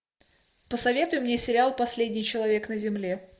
посоветуй мне сериал последний человек на земле